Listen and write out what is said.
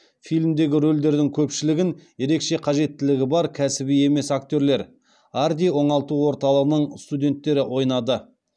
фильмдегі рөлдердің көпшілігін ерекше қажеттілігі бар кәсіби емес актерлер арди оңалту орталығының студенттері ойнады